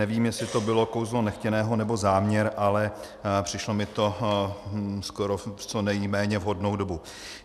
Nevím, jestli to bylo kouzlo nechtěného, nebo záměr, ale přišlo mi to ve skoro co nejméně vhodnou dobu.